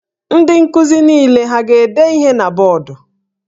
Ndị nkuzi niile ha a ga-ede ihe na bọọdụ?